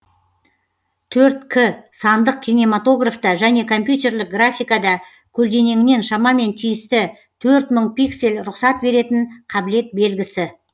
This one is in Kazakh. төрт к сандық кинематографта және компьютерлік графикада көлденеңінен шамамен тиісті төрт мың пиксель рұқсат беретін қабілет белгісі